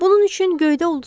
Bunun üçün göydə ulduzlar var.